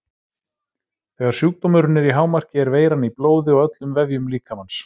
Þegar sjúkdómurinn er í hámarki er veiran í blóði og öllum vefjum líkamans.